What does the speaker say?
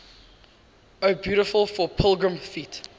o beautiful for pilgrim feet